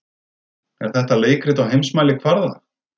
Er þetta leikrit á heimsmælikvarða?